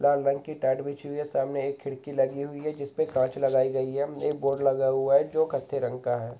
लाल रंग की टाट बिछी हुई है सामने एक खिड़की लगी हुई है जिसपे कांच लगाई गयी है एक बोर्ड लगा हुआ है जो कत्थे रंग का है।